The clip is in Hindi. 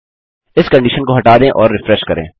इस कंडिशन को हटा दें और रिफ्रेश करें